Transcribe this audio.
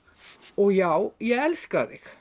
og já ég elska þig